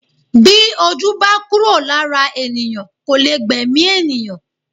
Bí ojú bá kúrò lára ènìyàn kò lè gbẹ̀mí ènìyàn